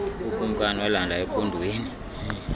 ukumkani walanda ekhondweni